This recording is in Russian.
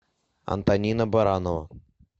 антонина баранова